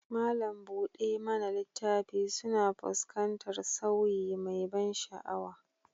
Malam buɗe mana littafi suna fuskantar sauyi mai ban sha'awa